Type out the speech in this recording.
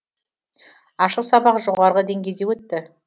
ашық сабақ жоғарғы деңгейде өтті